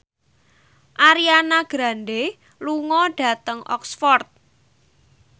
Ariana Grande lunga dhateng Oxford